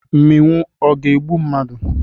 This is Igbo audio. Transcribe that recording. Mmịnwụ ọ ga-egbu mmadụ?